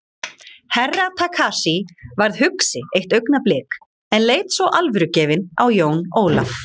Herra Takashi varð hugsi eitt augnablik en leit svo alvörugefinn á Jón Ólaf.